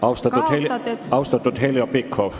Austatud Heljo Pikhof!